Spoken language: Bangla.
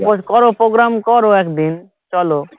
করো program করো একদিন চলো